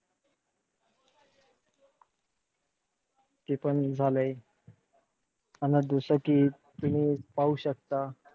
जे पण झालंय. अन जसं कि तुम्ही पाहू शकता.